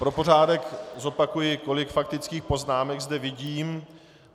Pro pořádek zopakuji, kolik faktických poznámek zde vidím.